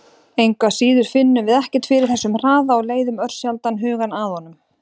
Engu að síður finnum við ekkert fyrir þessum hraða og leiðum örsjaldan hugann að honum!